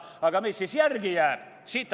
Aga mis siis järele jääb?